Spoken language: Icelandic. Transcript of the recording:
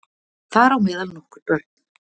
Þar á meðal nokkur börn